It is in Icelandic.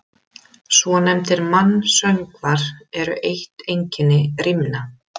Svonefndir mansöngvar eru eitt einkenni rímna.